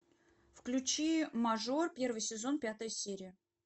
включи мажор первый сезон пятая серия